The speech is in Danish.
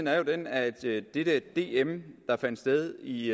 er jo den at det der dm der fandt sted i